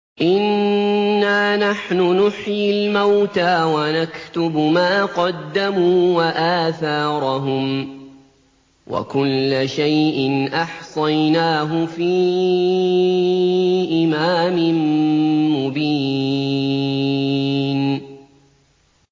إِنَّا نَحْنُ نُحْيِي الْمَوْتَىٰ وَنَكْتُبُ مَا قَدَّمُوا وَآثَارَهُمْ ۚ وَكُلَّ شَيْءٍ أَحْصَيْنَاهُ فِي إِمَامٍ مُّبِينٍ